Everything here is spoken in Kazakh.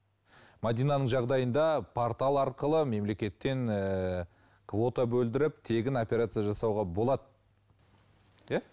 мәдинаның жағдайында портал арқылы мемлекеттен ыыы квота бөлдіріп тегін операция жасауға болады иә